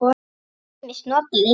Ýmist notaði